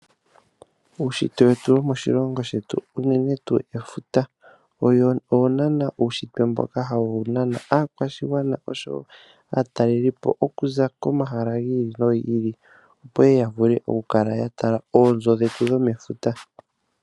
Uunshitwe wetu womoshilongo shetu unene tuu efuta, owo naana uunshitwe mboka hawu nana aakwashigwana, oshowo aatalelipo, okuza komahala gi ili nogi ili, opo yeye ya vule oku tala oonzo dhetu dho mefuta.